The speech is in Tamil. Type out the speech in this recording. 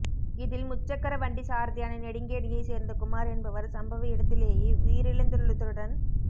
இதில் முச்சக்கர வண்டி சாரதியான நெடுங்கேணியை சேர்ந்த குமார் என்பவர் சம்பவ இடத்திலேயே உயிரிழந்துள்ளதுடன்